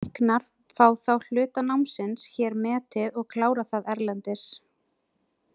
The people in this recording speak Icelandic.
Læknar fá þá hluta námsins hér metið og klára það erlendis.